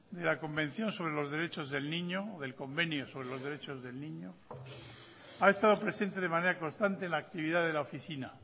del convenio sobre los derechos del niño ha estado presente de manera constante en la actividad de la oficina